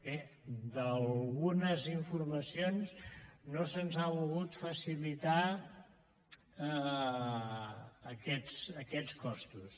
bé d’algunes informacions no se’ns han volgut facilitar aquests costos